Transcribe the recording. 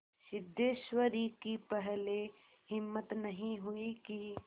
सिद्धेश्वरी की पहले हिम्मत नहीं हुई कि